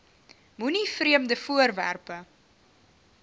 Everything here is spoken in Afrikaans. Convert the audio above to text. moenie vreemde voorwerpe